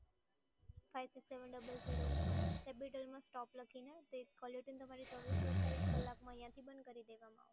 five six seven double zero ઉપર capital માં stop લખીને, કોલર ટયુન તમારી ચોવીસથી અડતાલીસ કલાકમાં અહીંયાથી બંધ કરી દેવામાં